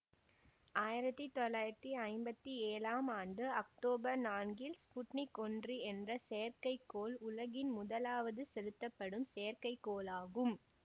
ஆயிரத்தி தொள்ளாயிரத்தி ஐம்பத்தி ஏளாம் ஆண்டு அக்தோபர் நான்கில் ஸ்புட்னிக் ஒன்று என்ற செயற்கை கோள் உலகின் முதலாவது செலுத்தப்படும் செயற்கைகோளாகும்